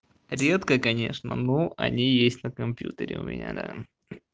редко конечно но они есть на компьютере у меня да